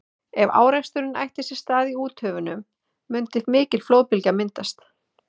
ef áreksturinn ætti sér stað í úthöfunum mundi mikil flóðbylgja myndast